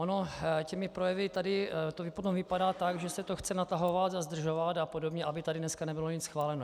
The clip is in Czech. Ono těmi projevy tady to potom vypadá tak, že se to chce natahovat a zdržovat a podobně, aby tady dneska nebylo nic schváleno.